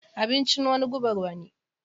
Abincin wani gubar wani.